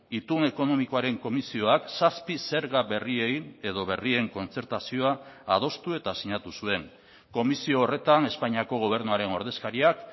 itun ekonomikoaren komisioak zazpi zerga berriei edo berrien kontzertazioa adostu eta sinatu zuen komisio horretan espainiako gobernuaren ordezkariak